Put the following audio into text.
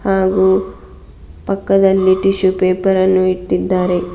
ಹಾಗು ಪಕ್ಕದಲ್ಲಿ tissue paper ನ್ನು ಇಟ್ಟಿದ್ದಾರೆ.